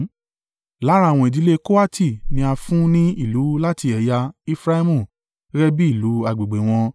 Lára àwọn ìdílé Kohati ni a fún ní ìlú láti ẹ̀yà Efraimu gẹ́gẹ́ bí ìlú agbègbè wọn.